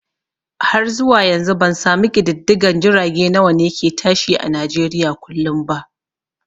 Har zuwa yanzu bansami ƙididdigan jirage nawane ke tashi a nijeriya kullum ba